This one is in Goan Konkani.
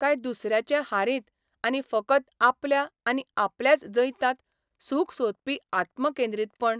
काय दुसऱ्याचे हारींत आनी फकत आपल्या आनी आपल्याच जैतांत सूख सोदपी आत्मकेंद्रीतपण?